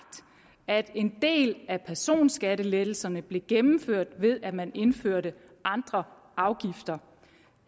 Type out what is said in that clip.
at en del af personskattelettelserne blev gennemført ved at man indførte andre afgifter